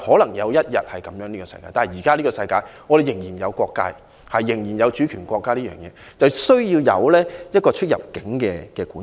終有一天會世界大同，但現今世界仍然有國界，仍然有主權國家，需要有出入境管制。